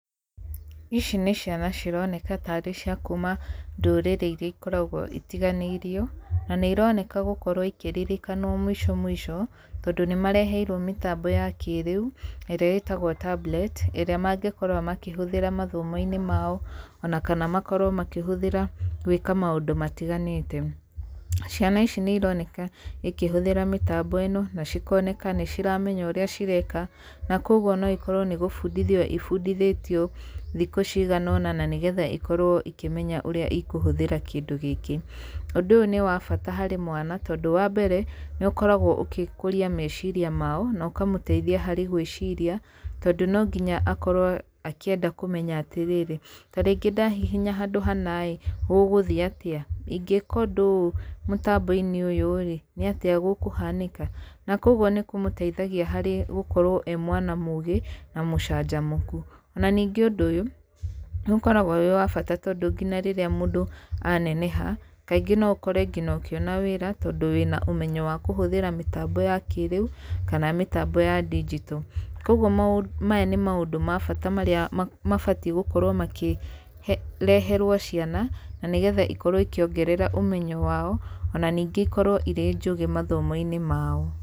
Ici nĩ ciana cironeka tarĩ ciakuma ndũrĩrĩ iria ikoragwo itiganĩirio. Na nĩironeka gũkorwo ikĩririkanwo mũico mũico, tondũ nĩmareheirwo mĩtambo ya kĩrĩu ĩrĩa ĩtagwo tablet ĩrĩa mangĩkorwo makĩhũthĩra mathomoinĩ mao. Ona kana makorwo makĩhũthĩra gwĩka maũndũ matiganĩte. Ciana ici nĩironeka cikĩhũthĩra mĩtambo ĩno na cikoneka nĩiramenya ũrĩa cireka na koguo no ikorwo nĩ gũbundithio ibundithĩtio thikũ cigana ũna nĩgetha cikorwo cikĩmenya ũrĩa cikũhũthĩra kĩndũ gĩkĩ. Ũndũ ũyũ nĩwa bata harĩ mwana tondũ wa mbere nĩũkoragwo ũgĩkũria meciria mao na ũkamũteithia harĩ gwĩciria tondũ no nginya akorwo akĩenda kũmenya atĩrĩrĩ, ta rĩngĩ ndahihinya handũ hana rĩ gũgũthiĩ atĩ? Ingĩka ũndũ ũyũ mũtambo-inĩ ũyũ nĩatĩa gũkũhanĩka? Na koguo nĩkũmũteithagia gũkorwo arĩ mwana mũgĩ na mũcanjamũku. Na ningĩ ũndũ ũyũ ũkoragwo ũrĩ wa bata tondũ nginya rĩrĩa mũndũ aneneha kaingĩ no ũkore ũkĩona nginya wĩra tondũ wĩna ũmenyo wa kũhũthĩra mĩtambo ya kĩrĩu kana mĩtambo ya ndigito. Koguo maya nĩ maũndũ ma bata marĩa mabatiĩ gũkorwo makĩreherwo ciana na nĩgetha ikorwo ikĩongerera ũmenyo wao na ningĩ ikorwo irĩ njũgĩ mathomo-inĩ mao.